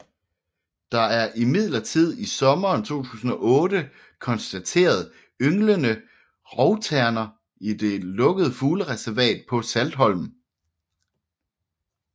Der er imidlertid i sommeren 2008 konstateret ynglende rovterner i det lukkede fuglereservat på Saltholm